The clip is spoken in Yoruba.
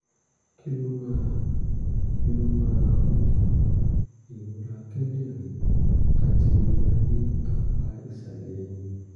kí ló máa kí ló máa ń fa ìrora kíndìnrín àti ìrora ní apá ìsàlẹ̀ ẹ̀yìn?